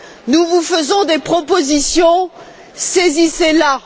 nous vous faisons des propositions saisissez la!